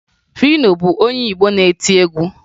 Fino bụ onye Igbo na-eti egwu